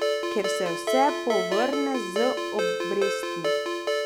Ker se vse povrne z obrestmi.